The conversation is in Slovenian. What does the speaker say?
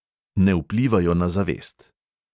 Ne vplivajo na zavest.